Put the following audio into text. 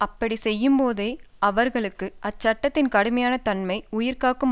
அப்படி செய்யும்போதே அவர்களுக்கு அந்த சட்டத்தின் கடுமையான தன்மை உயிர்காக்கும்